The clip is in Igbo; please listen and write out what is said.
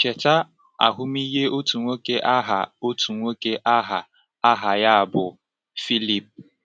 Cheta ahụmịhe otu nwoke agha otu nwoke agha aha ya bụ Phillip.